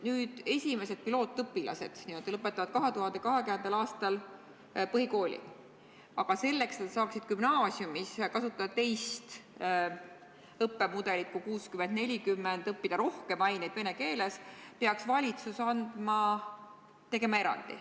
Nüüd esimesed n-ö pilootõpilased lõpetavad 2020. aastal põhikooli, aga selleks, et nad saaksid gümnaasiumis kasutada teist õppemudelit kui 60 : 40, õppida rohkem aineid vene keeles, peaks valitsus tegema erandi.